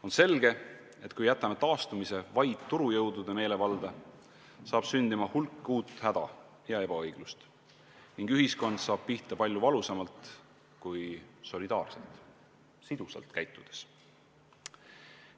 On selge, et kui jätame taastumise vaid turujõudude meelevalda, saab sündima hulk uut häda ja ebaõiglust ning ühiskond saab pihta palju valusamalt kui solidaarselt ja sidusalt käitudes.